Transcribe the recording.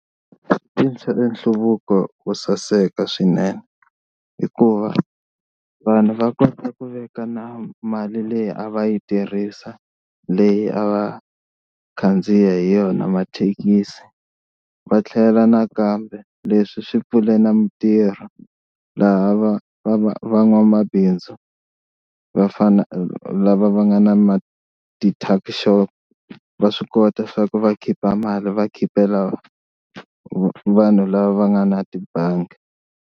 nhluvuko wo saseka swinene hikuva vanhu va kota ku veka na mali leyi a va yi tirhisa leyi a va khandziya hi yona mathekisi va tlhela nakambe leswi swi pfule na mitirho laha va va va van'wamabindzu vafana lava va nga na ma ti-tuck shop va swi kota swa ku va khipa mali va khipela vanhu lava va nga na tibangi.